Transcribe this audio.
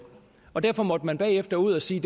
og derfor måtte man bagefter ud at sige